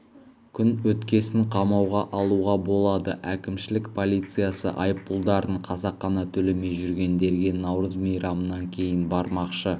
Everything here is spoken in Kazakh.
күн өткесін қамауға алуға болады әкімшілік полициясы айыппұлдарын қасақана төлемей жүргендерге наурыз мейрамынан кейін бармақшы